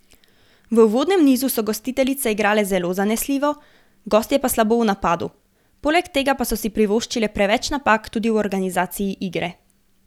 V uvodnem nizu so gostiteljice igrale zelo zanesljivo, gostje pa slabo v napadu, poleg tega pa so si privoščile preveč napak tudi v organizaciji igre.